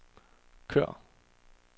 kør